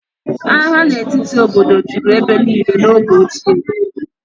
Agha n'etiti obodo juru ebe niile n'oge ochie